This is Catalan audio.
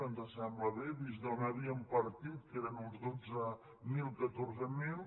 ens sembla bé vist d’on havíem partit que eren uns dotze mil catorze mil